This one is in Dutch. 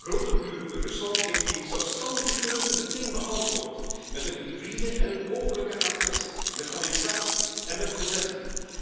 Grote buur Rusland heeft die zelfstandige keuze meteen beantwoord met een hybride en een openlijke agressie, met annexatie en met bezetting.